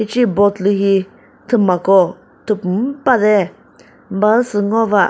hicehi boat lü hi thümako thüpum müpa de bazü sü ngova.